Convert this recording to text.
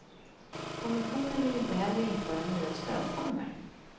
Kommissionen vill inte heller införa nya stödformer.